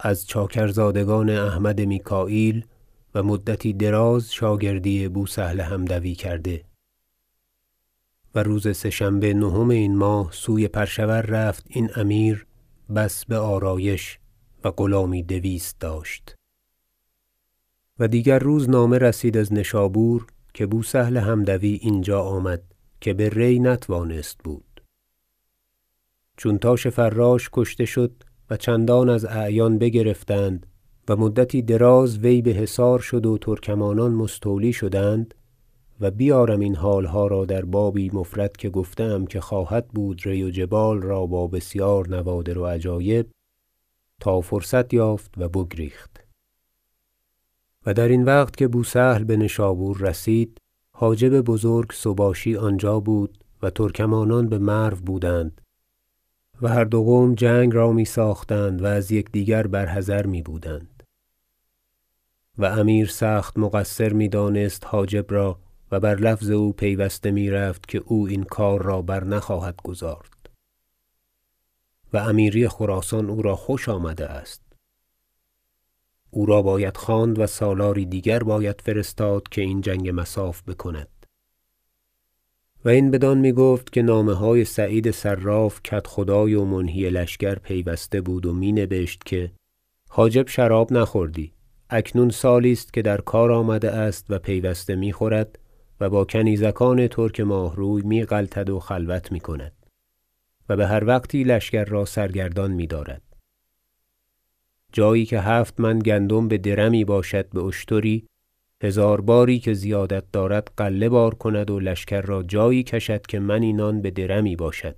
از چاکرزادگان احمد میکاییل و مدتی دراز شاگردی بوسهل حمدوی کرده و روز سه شنبه نهم این ماه سوی پرشور رفت این امیر بس بآرایش و غلامی دویست داشت و دیگر روزنامه رسید از نشابور که بوسهل حمدوی اینجا آمد که به ری نتوانست بود چون تاش فراش کشته شد و چندان از اعیان بگرفتند و مدتی دراز وی بحصار شد و ترکمانان مستولی شدند- و بیارم این حالها را در بابی مفرد که گفته ام که خواهد بود ری و جبال را با بسیار نوادر و عجایب- تا فرصت یافت و بگریخت و درین وقت که بوسهل بنشابور رسید حاجب بزرگ سباشی آنجا بود و ترکمانان بمرو بودند و هر دو قوم جنگ را میساختند و از یکدیگر بر حذر میبودند و امیر سخت مقصر میدانست حاجب را و بر لفظ او پیوسته میرفت که او این کار را برنخواهد گزارد و امیری خراسان او را خوش آمده است او را باید خواند و سالاری دیگر باید فرستاد که این جنگ مصاف بکند و این بدان میگفت که نامه های سعید صراف کدخدای و منهی لشکر پیوسته بود و می نبشت که حاجب شراب نخوردی اکنون سالی است که در کار آمده است و پیوسته میخورد و با کنیزکان ترک ماهروی میغلطد و خلوت میکند و بهر وقتی لشکر را سرگردان میدارد جایی که هفت من گندم بدر می باشد با شتری هزار باری که زیادتی دارد غله بار کند و لشکر را جایی کشد که منی نان بدر می باشد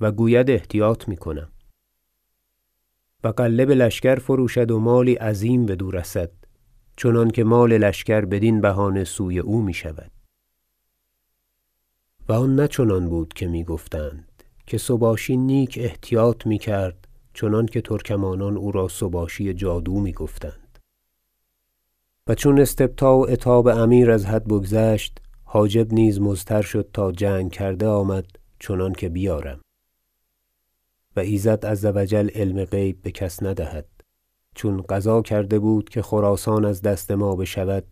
و گوید احتیاط میکنم و غله بلشکر فروشد و مالی عظیم بدو رسد چنانکه مال لشکر بدین بهانه سوی او میشود و امیر ناچار ازین تنگدل میشد و آن نه چنان بود که میگفتند که سباشی نیک احتیاط میکرد چنانکه ترکمانان او را سباشی جادو میگفتند و چون استبطاء و عتاب امیر از حد بگذشت حاجب نیز مضطر شد تا جنگ کرده آمد چنانکه بیارم و ایزد عز و جل علم غیب بکس ندهد چون قضا کرده بود که خراسان از دست ما بشود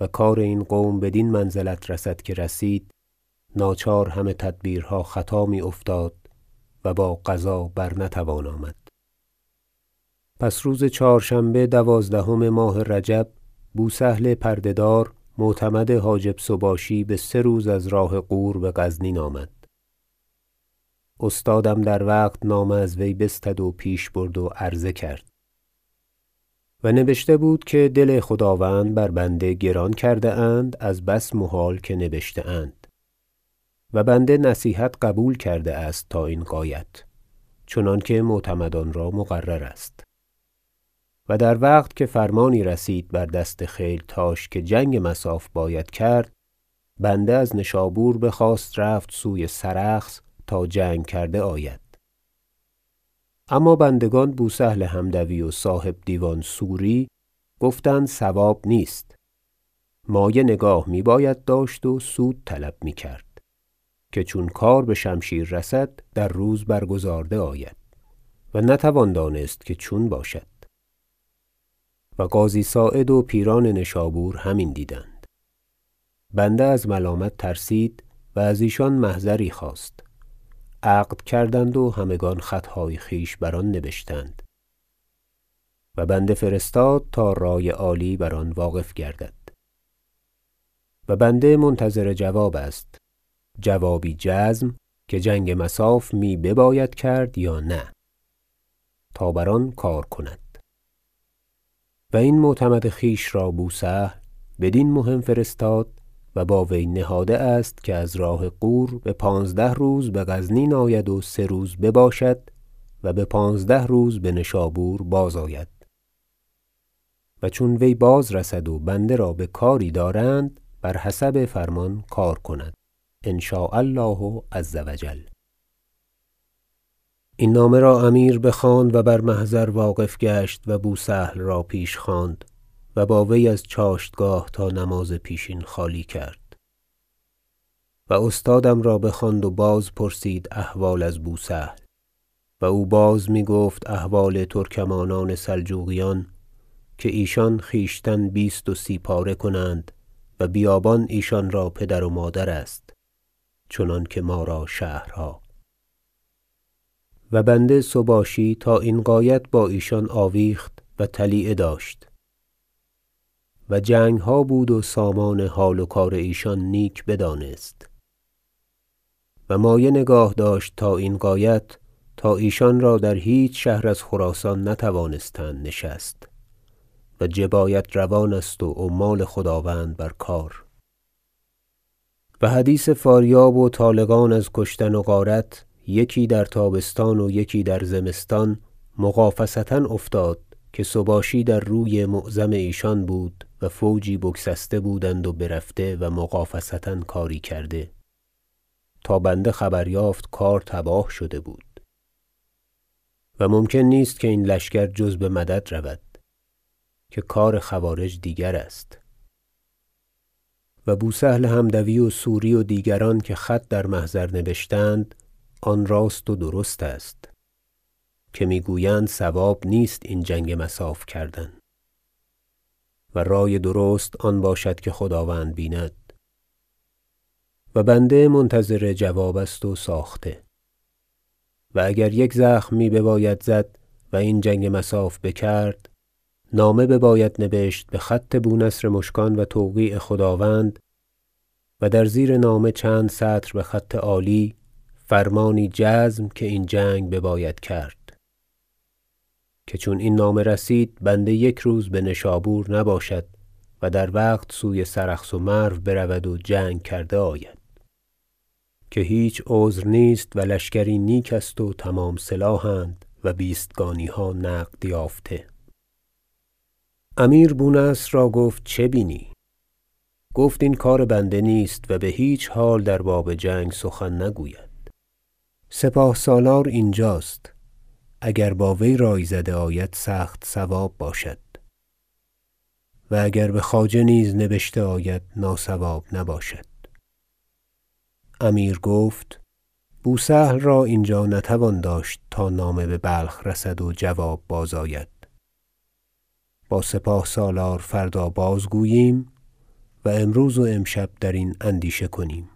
و کار این قوم بدین منزلت رسد که رسید ناچار همه تدبیرها خطا میافتاد و با قضا برنتوان آمد گزارش منهی و محضر فرستادن سباشی پس روز چهارشنبه دوازدهم ماه رجب بوسهل پرده دار معتمد حاجب سباشی بسه روز از راه غور بغزنین آمد استادم در وقت نامه از وی بستد و پیش برد و عرضه کرد و نبشته بود که دل خداوند بر بنده گران کرده اند از بس محال که نبشته اند و بنده نصیحت قبول کرده است تا این غایت چنانکه معتمدان را مقرر است و در وقت که فرمانی رسید بر دست خیلتاش که جنگ مصاف باید کرد بنده از نشابور بخواست رفت سوی سرخس تا جنگ کرده آید اما بندگان بوسهل حمدوی و صاحب دیوان سوری گفتند صواب نیست مایه نگاه میباید داشت و سود طلب میکرد که چون کار بشمشیر رسد در روز برگزارده آید و نتوان دانست که چون باشد و قاضی صاعد و پیران نشابور همین دیدند بنده از ملامت ترسید و از ایشان محضری خواست عقد کردند و همگان خطهای خویش بر آن نبشتند و بنده فرستاد تا رای عالی بر آن واقف گردد و بنده منتظر جواب است جوابی جزم که جنگ مصاف می بباید کرد یا نه تا بر آن کار کند و این معتمد خویش را بوسهل بدین مهم فرستاد و با وی نهاده است که از راه غور بپانزده روز بغزنین آید و سه روز بباشد و بپانزده روز بنشابور بازآید و چون وی بازرسد و بنده را بکاری دارند بر حسب فرمان کار کند ان شاء الله عز و جل این نامه را امیر بخواند و بر محضر واقف گشت و بوسهل را پیش خواند و با وی از چاشتگاه تا نماز پیشین خالی کرد و استادم را بخواند و بازپرسید احوال از بوسهل و او بازمیگفت احوال ترکمانان سلجوقیان که ایشان خویشتن بیست و سی پاره کنند و بیابان ایشان را پدر و مادر است چنانکه ما را شهرها و بنده سباشی تا این غایت با ایشان آویخت و طلیعه داشت و جنگها بود و سامان حال و کار ایشان نیک بدانست و مایه نگاه داشت تا این غایت تا ایشان در هیچ شهر از خراسان نتوانستند نشست و جبایت روان است و عمال خداوند بر کار و حدیث فاریاب و طالقان از کشتن و غارت یکی در تابستان و یکی در زمستان مغافصه افتاد که سباشی در روی معظم ایشان بود و فوجی بگسسته بودند و برفته و مغافصه کاری کرده تا بنده خبر یافت کار تباه شد بود و ممکن نیست که این لشکر جز بمدد رود که کار خوارج دیگر است و بوسهل حمدوی و سوری و دیگران که خط در محضر نبشتند آن راست و درست است که میگویند صواب نیست این جنگ مصاف کردن و رای درست آن باشد که خداوند بیند و بنده منتظر جواب است و ساخته و اگر یک زخم می بباید زد و این جنگ مصاف بکرد نامه بباید نبشت بخط بونصر مشکان و توقیع خداوند و در زیر نامه چند سطر بخط عالی فرمانی جزم که این جنگ بباید کرد که چون این نامه رسید بنده یک روز بنشابور نباشد و در وقت سوی سرخس و مرو برود و جنگ کرده آید که هیچ عذر نیست و لشکری نیک است و تمام سلاح اند و بیستگانیها نقد یافته امیر بونصر را گفت چه بینی گفت این کار بنده نیست و بهیچ حال در باب جنگ سخن نگوید سپاه سالار اینجاست اگر با وی رای زده آید سخت صواب باشد و اگر بخواجه نیز نبشته آید ناصواب نباشد امیر گفت بوسهل را اینجا نتوان داشت تا نامه ببلخ رسد و جواب بازآید با سپاه سالار فردا بازگوییم و امروز و امشب درین اندیشه کنیم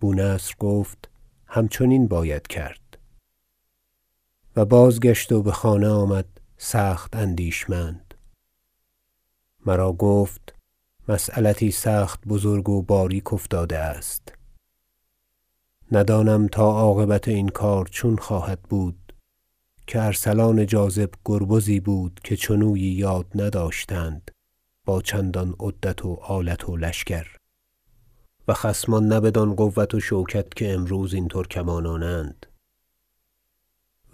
بونصر گفت همچنین باید کرد و بازگشت و بخانه بازآمد سخت اندیشمند مرا گفت مسیلتی سخت بزرگ و باریک افتاده است ندانم تا عاقبت این کار چون خواهد بود که ارسلان جاذب گربزی بود که چنویی یاد نداشتند با چندان عدت و آلت و لشکر و خصمان نه بدان قوت و شوکت که امروز این ترکمانانند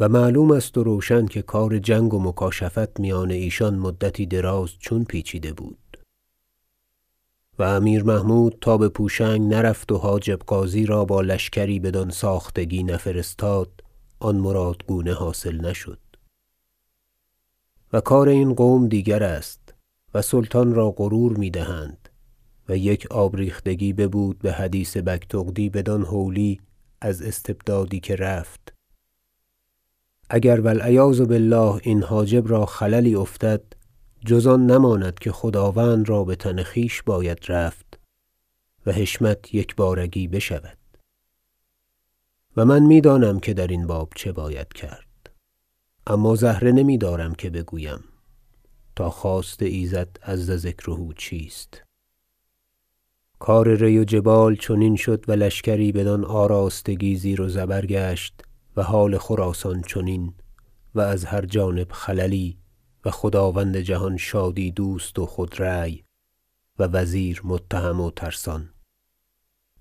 و معلوم است و روشن که کار جنگ و مکاشفت میان ایشان مدتی دراز چون پیچیده بود و امیر محمود تا بپوشنگ نرفت و حاجب غازی را با لشکری بدان ساختگی نفرستاد آن مرادگونه حاصل نشد و کار این قوم دیگر است و سلطان را غرور میدهند و یک آب ریختگی ببود بحدیث بگتغدی بدان هولی از استبدادی که رفت اگر و العیاذ بالله این حاجب را خللی افتد جز آن نماند که خداوند را بتن خویش باید رفت و حشمت یگبارگی بشود و من میدانم که درین باب چه باید کرد اما زهره نمیدارم که بگویم تا خواست ایزد عز ذکره چیست کار ری و جبال چنین شد و لشکری بدان آراستگی زیر و زبر گشت و حال خراسان چنین و از هر جانب خللی و خداوند جهان شادی دوست و خود رای و وزیر متهم و ترسان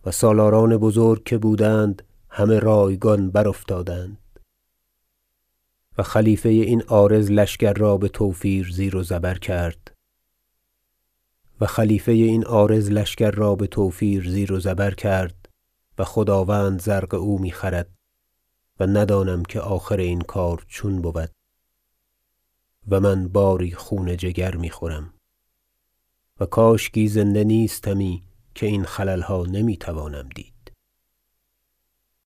و سالاران بزرگ که بودند همه رایگان برافتادند و خلیفه این عارض لشکر را بتوفیر زیر و زبر کرد و خداوند زرق او میخرد و ندانم که آخر این کار چون بود و من باری خون جگر میخورم و کاشکی زنده نیستمی که این خللها نمیتوانم دید